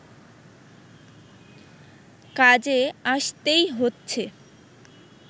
কাজে আসতেই হচ্ছে